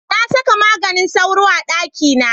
Na saka maganin sauro a ɗakina.